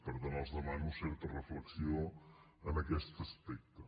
per tant els demano certa reflexió en aquest aspecte